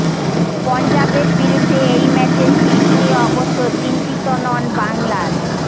পঞ্জাবের বিরুদ্ধে এই ম্যাচের পিচ নিয়ে অবশ্য চিন্তিত নন বাংলার